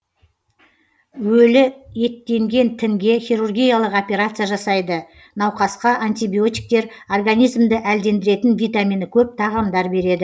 өлі еттенген тінге хирургиялық операция жасайды науқасқа антибиотиктер организмді әлдендіретін витамині көп тағамдар береді